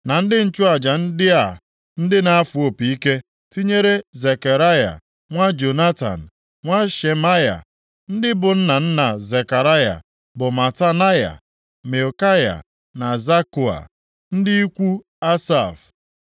na ndị nchụaja ndị a ndị na-afụ opi, tinyere Zekaraya nwa Jonatan, nwa Shemaya. Ndị bụ nna nna Zekaraya bụ Matanaya, Mikaya na Zakua, ndị ikwu Asaf.